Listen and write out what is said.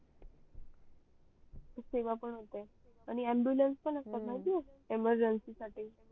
सेवा पण होते आणि ambulance पण असतात न अजून emergency साठी